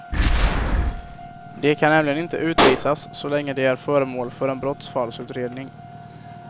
De kan nämligen inte utvisas så länge de är föremål för en brottsfallsutredning.